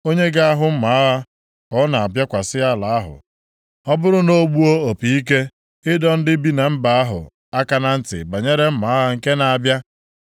onye ga-ahụ mma agha ka ọ na-abịakwasị ala ahụ, ọ bụrụ na o gbuo opi ike, ịdọ ndị bi na mba ahụ aka na ntị banyere mma agha nke na-abịa,